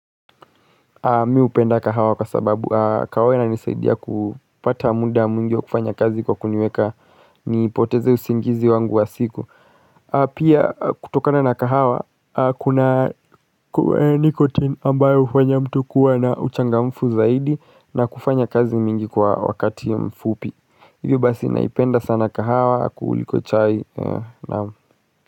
Mi hupenda kahawa kwa sababu kahawa inanisaidia kupata muda mwingi wa kufanya kazi kwa kuniweka ni poteze usingizi wangu wa siku. Pia kutokana na kahawa kuna nicotine ambayo hufanya mtu kuwa na uchangamfu zaidi na kufanya kazi mingi kwa wakati mfupi. Hivyo basi naipenda sana kahawa kuuliko chai nam.